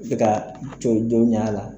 I bi ka kɛ don ɲa la.